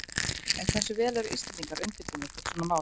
En hversu vel eru Íslendingar undirbúnir fyrir svona mál?